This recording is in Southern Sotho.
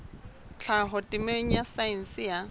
tlhaho temeng ya saense ya